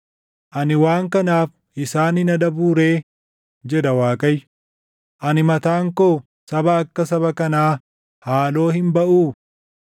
Ani waan kanaaf isaan hin adabuu ree?” jedha Waaqayyo. “Ani mataan koo saba akka saba kanaa haaloo hin baʼuu?